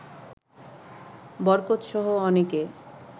বরকতসহ অনেকে